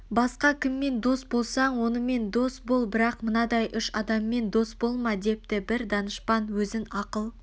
басқа кіммен дос болсаң онымен дос бол бірақ мынадай үш адаммен дос болма депті бір данышпан өзінн ақыл